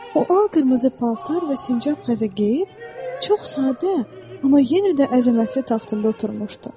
O al qırmızı paltar və sincab xəzə geyib, çox sadə, amma yenə də əzəmətli taxtında oturmuşdu.